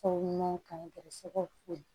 Fɔ ɲɔgɔn kan gɛrɛsɛgɛw to ye